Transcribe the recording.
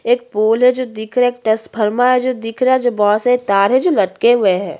एक पोल है जो दिख रहा है ट्रस्फरमा है जो दिख रहा है जो बोहत बहुत सारे तार है जो लटके हुए है।